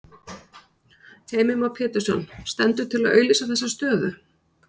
Heimir Már Pétursson: Stendur til að auglýsa þessa stöðu?